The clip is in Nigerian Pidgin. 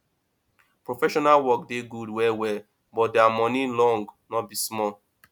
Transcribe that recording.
professional work dey gud well well but dia moni long no be small